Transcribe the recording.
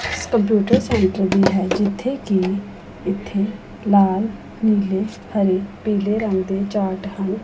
Computer centre ਦੀ ਹੈ ਜਿੱਥੇ ਕਿ ਇੱਥੇ ਲਾਲ ਪੀਲੇ ਰੰਗ ਦੇ ਚਾਰਟ ਹਨ।